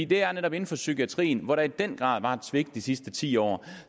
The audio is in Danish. det er netop inden for psykiatrien hvor der i den grad har været et svigt de sidste ti år